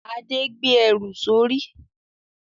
Adé gbé ẹrù sórí